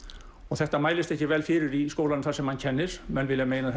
þetta mælist ekki vel fyrir í skólanum þar sem hann kennir menn vilja meina